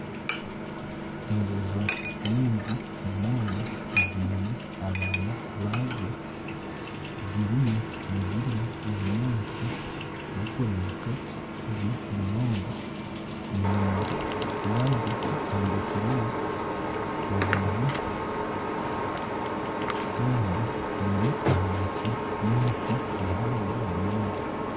Enjojo nyingi munonga ziine abaana bazo, ziriyo nizirya obunyaatsi burikurebeka gye munonga enyima yazo hombekireyo obuju Kandi buri ahansi y'emiti mihango munonga.